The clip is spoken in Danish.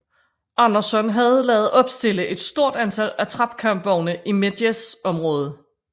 Anderson havde ladet opstille et stort antal attrap kampvogne i Medjez området